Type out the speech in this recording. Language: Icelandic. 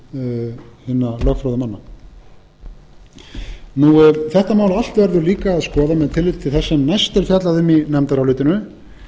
rökum hinna lögfróðu manna þetta mál allt verður líka að skoða með tilliti til þess sem næst er fjallað um í nefndarálitinu